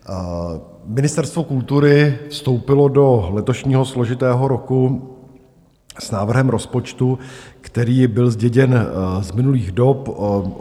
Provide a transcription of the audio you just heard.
Ministerstvo kultury vstoupilo do letošního složitého roku s návrhem rozpočtu, který byl zděděn z minulých dob.